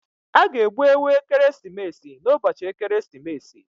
A ga-egbu ewu ekeresimesi n'ụbọchị ekeresimesi.